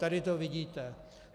Tady to vidíte.